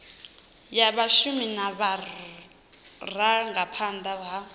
ya vhashumi na vhurangaphanda ha